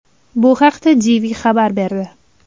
Bu haqda DW xabar berdi .